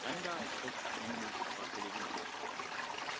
Voorzitter, vissen hebben bewustzijn en gevoel.